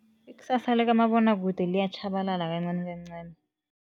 Ikusasa likamabonwakude liyatjhabalala kancanikancani.